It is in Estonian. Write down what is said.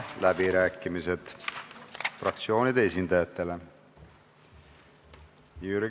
Avan fraktsioonide esindajate läbirääkimised.